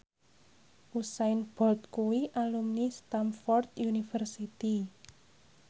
Usain Bolt kuwi alumni Stamford University